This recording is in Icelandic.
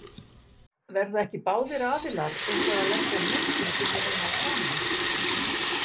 Verða ekki báðir aðilar eitthvað að leggja af mörkum til þess að ná saman?